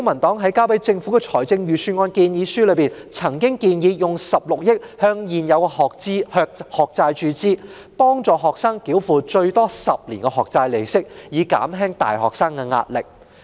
在提交予政府的財政預算案建議書中，公民黨曾建議動用16億元注資未償還學債，幫助學生繳付最多10年的學債利息，以減輕大學生的壓力。